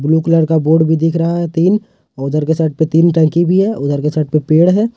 Blue colour का board भी दिख रहा है तीन उधर के साइड पे तीन टंकी भी है उधर के साइड पे पेड़ है।